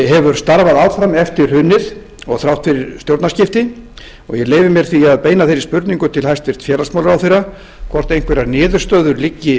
hefur starfað áfram eftir hrunið og þrátt fyrir stjórnarskiptin og ég leyfi mér því að beina þeirri spurningu til hæstvirts félagsmálaráðherra hvort einhverjar niðurstöður liggi